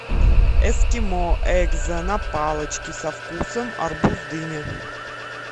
эскимо экзо на палочке со вкусом арбуз дыня